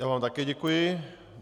Já vám také děkuji.